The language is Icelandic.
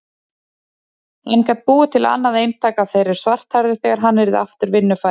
Hann gat búið til annað eintak af þeirri svarthærðu þegar hann yrði aftur vinnufær.